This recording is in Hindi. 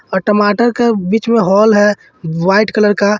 अ टमाटर का बीच में होल है व्हाइट कलर का--